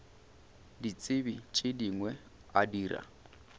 ditsebi tše dingwe a dira